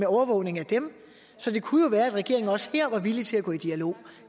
overvågning af dem så det kunne jo være at regeringen også her var villig til at gå i dialog